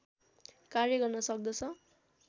कार्य गर्न सक्दछ